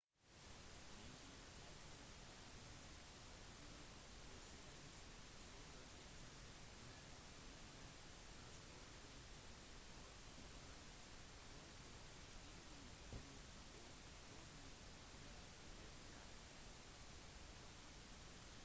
myndighetene er usikre på trusselens troverdighet men maryland transportation authority foretok stenging på oppfordring fra fbi